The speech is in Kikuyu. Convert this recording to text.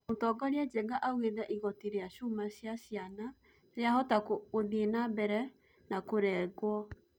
Mũtongoria Njenga augete igoti rĩa cuuma cia caina rĩahota gũthie nambere na kũrengũo